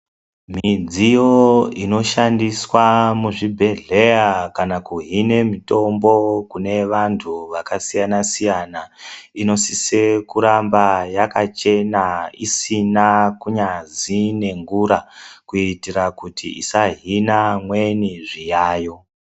Midziyo inoshandiswa muzvibhedhleya kana kuhine mutombo kune vandu vakasiyana siyana inosise kuramba yakachena isina ngazi nengura kuti isahina amweni zviyayo